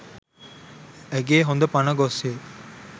ඇගේ හොඳ පණ ගොස්ය.